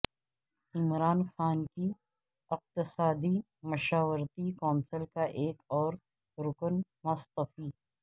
عمران خان کی اقتصادی مشاورتی کونسل کا ایک اور رکن مستعفی